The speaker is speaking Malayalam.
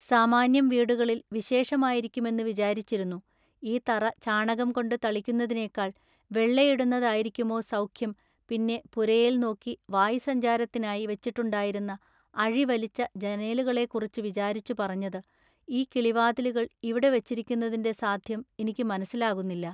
സാമാന്യം വീടുകളിൽ വിശേഷമായിരിക്കുമെന്നു വിചാരിച്ചിരുന്നു ഈ തറ ചാണകംകൊണ്ടു തളിക്കുന്നതിനെക്കാൾ വെള്ളയിടുന്നതായിരിക്കുമൊ സൌഖ്യം പിന്നെ പുരയേൽനോക്കി വായുസ്സഞ്ചാരത്തിനായി വച്ചിട്ടുണ്ടായിരുന്ന അഴിവലിച്ച ജനേലുകളെക്കുറിച്ചു വിചാരിച്ചു പറഞ്ഞതു: “ഈ കിളിവാതിലുകൾ ഇവിടെ വച്ചിരിക്കുന്നതിന്‍റെ സാദ്ധ്യം ഇനിക്കു മനസ്സിലാകുന്നില്ല.